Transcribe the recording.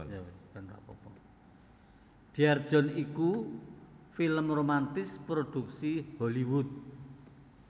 Dear John iku film romantis prodhuksi Hollywood